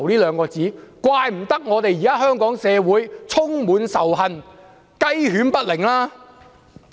難怪香港社會現時充滿仇恨，雞犬不寧。